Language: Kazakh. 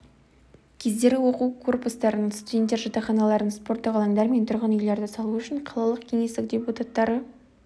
кездері оқу корпустарын студенттер жатақханаларын спорттық алаңдар мен тұрғын үйлерді салу үшін қалалық кеңестің депутаттары